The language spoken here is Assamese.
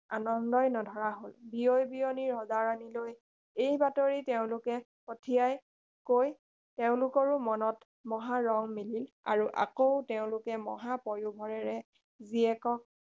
আনন্দই নধৰা হ’ল বিয়ৈ বিয়ৈনী ৰজা ৰাণীলৈ এই বাতৰি তেওঁলোকে পঠিয়া কৈ তেওঁলোকৰো মনত মহা ৰং মিলিল আৰু আকৌ তেওঁলোকে মহা পয়োভৰেৰে জীয়েকক